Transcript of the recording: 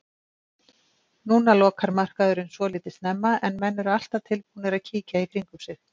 Núna lokar markaðurinn svolítið snemma en menn eru alltaf tilbúnir að kíkja í kringum sig.